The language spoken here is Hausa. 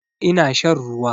Ina shan ruwa